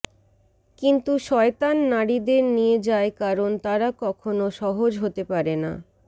কিন্তু শয়তান নারীদের নিয়ে যায় কারণ তারা কখনো সহজ হতে পারে না